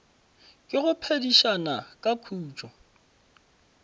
ke go phedišana ka khutšo